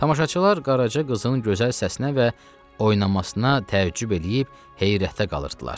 Tamaşaçılar Qaraca qızın gözəl səsinə və oynamasına təəccüb eləyib, heyrətə qalırdılar.